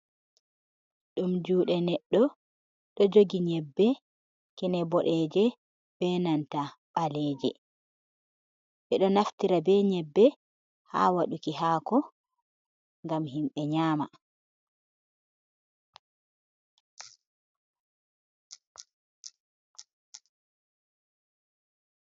Ɗum juuɗe neɗɗo ɗo jogi nyebbe kine bodeje be nanta ɓaleje, ɓe ɗo naftira be nyebbe ha waɗuki haako ngam himɓe nyama.